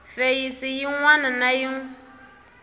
feyisi yin wana na yin